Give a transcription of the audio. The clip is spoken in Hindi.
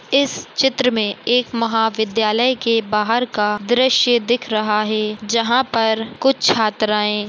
इस चित्र मे एक महाविद्यालय के बाहर का दृश्य दिख रहा है जहाँ पर कुछ छात्राए--